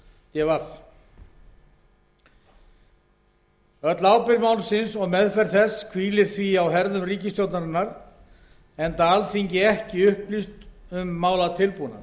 d v öll ábyrgð málsins og meðferð þess hvílir því á herðum ríkisstjórnarinnar enda alþingi ekki upplýst um málatilbúnað